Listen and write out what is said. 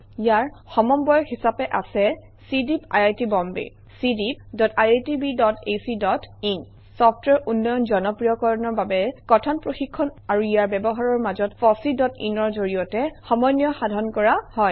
ইয়াৰ সমন্বয়ক হিচাপে আছে চিডিইপি আইআইটি Bombay cdeepiitbacইন চফটৱেৰ উন্নয়ন জনপ্ৰিয়কৰণৰ বাবে কথন প্ৰশিক্ষণ আৰু ইয়াৰ ব্যৱহাৰৰ মাজত Fossein ৰ জৰিয়তে সমন্বয় সাধন কৰা হয়